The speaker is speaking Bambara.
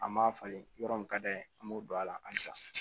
An m'a falen yɔrɔ min ka d'an ye an b'o don a la halisa